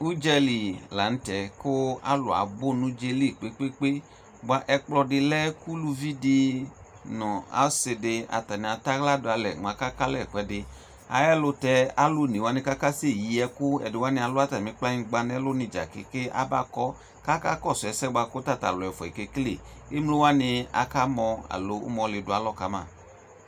Ʋdzali lanʋtɛ kʋ alʋ abʋ nʋ ʋdza yɛli kpe kpe kpe bʋa ɛkplɔdi lɛ kʋ ʋlʋvi nʋ asidi atani atɛ aɣla dʋ alɛ mʋ akaka alɛ ɛkʋɛdi ayʋ ɛlʋtɛ alʋ one wani kʋ akasɛ yi ɛkʋ ɛdi wani alʋ kplanyigba nʋ ɛlʋ ni dza keŋkeŋ abakɔ kʋ aka kɔsʋ ɛsɛ bʋakʋ tatʋ alʋ ɛfʋɛ kekele emlo aka mɔ alo ʋmɔli dʋ alɔ kama